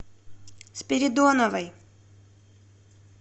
спиридоновой